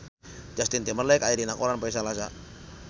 Justin Timberlake aya dina koran poe Salasa